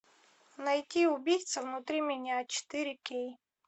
найти убийца внутри меня четыре кей